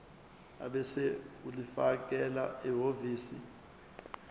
ebese ulifakela ehhovisi